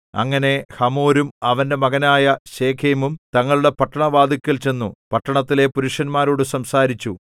അങ്ങനെ ഹമോരും അവന്റെ മകനായ ശെഖേമും തങ്ങളുടെ പട്ടണവാതില്ക്കൽ ചെന്നു പട്ടണത്തിലെ പുരുഷന്മാരോടു സംസാരിച്ചു